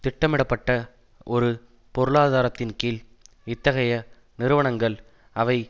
திட்டமிடப்பட்ட ஒரு பொருளாதாரத்தின் கீழ் இத்தகைய நிறுவனங்கள் அவை